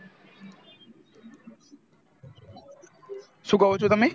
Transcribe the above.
શું કહો છો તમે